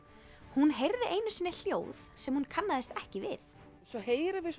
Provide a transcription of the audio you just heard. hún heyrði einu sinni hljóð sem hún kannaðist ekki við svo heyrum við